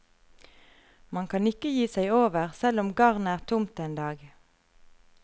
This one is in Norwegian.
Man kan ikke gi seg over selv om garnet er tomt en dag.